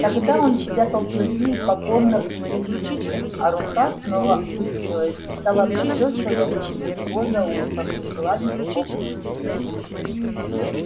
тогда он спрятал клыки и покорно приник к земле а рука снова опустилась и стала почёсывать у него за ухом и гладить его по спине